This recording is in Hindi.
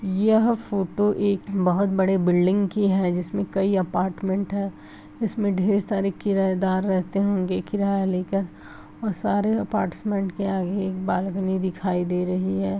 दिख रहा है तैयार किया गया है और चारों साइड बेठने के लिए जगह तैयार की गई है और यहां पे गेस्ट के लिए भी जगह रखी हुई है।